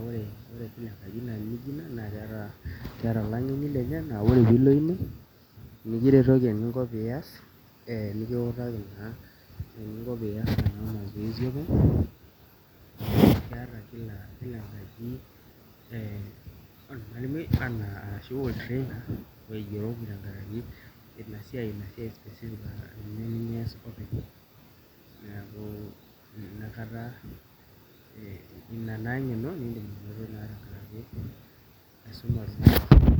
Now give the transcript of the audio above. ore esiai nijio ina neeta olang'eni aa ore piilo ine nikiretoki eninko pee ias, nikutaki naa eninko pee iaaas ena masoesi openy, neeku keeta kila enkaji ormalimui lenye. Ina naa eng'eno nidim anoto.